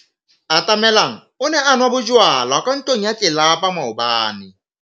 Atamelang o ne a nwa bojwala kwa ntlong ya tlelapa maobane.